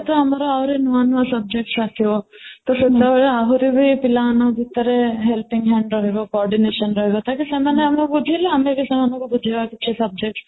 ତ ଆମର ଆହୁରି ନୂଆ ନୂଆ subjects ଆସିବା ତ ସେତେବେଳେ ଆହୁରି ପିଲାମାନଙ୍କ ଭିତରେ helping hand ରହିବ coordination ରହିବ ତାକି ସେମାନେ ଆମେ ବୁଝିଲେ ଆମେ ସେମାନଙ୍କୁ ବୁଝାଇବା କିଛି subject